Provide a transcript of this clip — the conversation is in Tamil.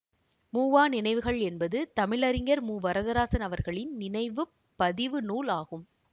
மூவா நினைவுகள் என்பது தமிழறிஞர் மு வரதராசன் அவர்களின் நினைவு பதிவு நூல் ஆகும்